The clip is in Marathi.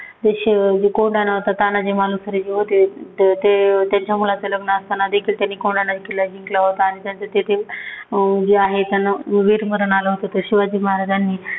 ते शेव जे कोंढाणा होता, नावाचा तानाजी मालुसरे जे होते, ते त्यांच्या मुलाचं लग्न असतांना देखील त्यांनी कोंढाणा किल्ला जिंकला होता. आणि त्याचं तेथे अं जे आहे त्यांना वीरमरण आल होतं. ते शिवाजी महाराजांनी